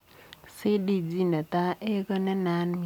CDG netai A ko nenaat mising.